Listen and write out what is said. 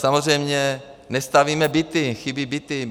Samozřejmě nestavíme byty, chybí byty.